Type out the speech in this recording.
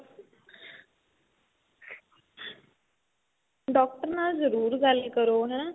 doctor ਨਾਲ ਜਰੂਰ ਗੱਲ ਕਰੋ ਹੈਂ .